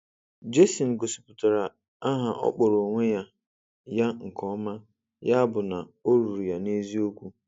Jason gosipụtara aha ọ kpọrọ onwe ya ya nke ọma, ya bụ na ọ rụụrụ ya n'eziokwu.